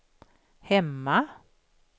hemma